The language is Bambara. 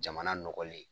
Jamana nɔgɔlen